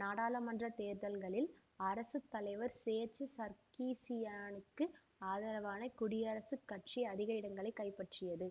நாடாளுமன்ற தேர்தல்களில் அரசு தலைவர் சேர்சு சர்கிசியானுக்கு ஆதரவான குடியரசுக் கட்சி அதிக இடங்களை கைப்பற்றியது